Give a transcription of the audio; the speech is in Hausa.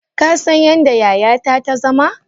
Kasan yadda yayata ta zama?